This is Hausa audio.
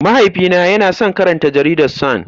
Mahaifina yana son karanta Jaridar Sun.